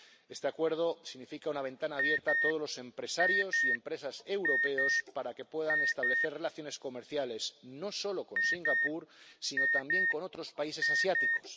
Este Acuerdo significa una ventana abierta a todos los empresarios y empresas europeos para que puedan establecer relaciones comerciales, no solo con Singapur, sino también con otros países asiáticos.